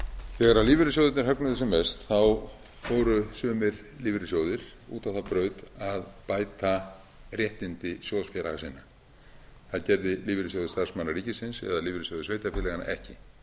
þegar lífeyrissjóðirnir högnuðust sem mest fóru sumir lífeyrissjóðir út á þá braut að bæta réttindi sjóðsfélaga sinna það gerði lífeyrissjóður starfsmanna ríkisins en lífeyrissjóðir sveitarfélaganna ekki